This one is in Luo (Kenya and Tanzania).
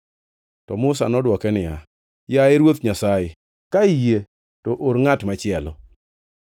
To Musa nodwoke niya, “Yaye Ruoth Nyasaye, ka iyie to or ngʼat machielo.”